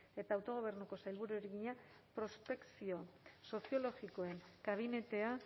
eta autogobernuko sailburuari egina prospekzio soziologikoen kabinetea